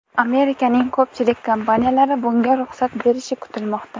Amerikaning ko‘pchilik kompaniyalari bunga ruxsat berishi kutilmoqda.